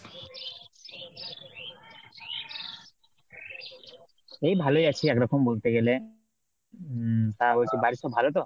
এই ভালোই আছি একরকম বলতে গেলে। উম তা হচ্ছে বাড়ির সবাই ভালো তো?